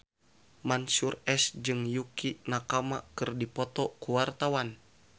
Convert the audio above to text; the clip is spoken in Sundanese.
Mansyur S jeung Yukie Nakama keur dipoto ku wartawan